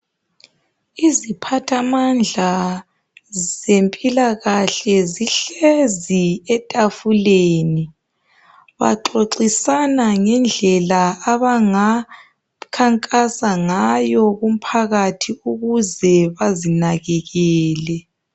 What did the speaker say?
Iziphathamandla zempilakahle zihlezi etafuleni baxoxisana ngendlela abangakhankasa ngawo kumphakathi ukuze azinakekele.